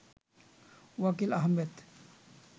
Wakil Ahmed